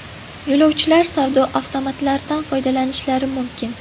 Yo‘lovchilar savdo avtomatlaridan foydalanishlari mumkin.